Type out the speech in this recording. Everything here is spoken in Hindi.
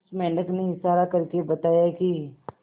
उस मेंढक ने इशारा करके बताया की